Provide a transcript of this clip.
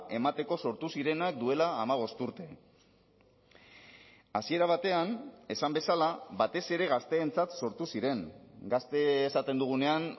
emateko sortu zirenak duela hamabost urte hasiera batean esan bezala batez ere gazteentzat sortu ziren gazte esaten dugunean